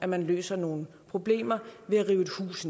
man løser nogle problemer ved at rive et hus